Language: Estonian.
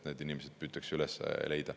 Need inimesed püütakse üles leida.